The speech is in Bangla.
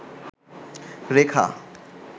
রেখা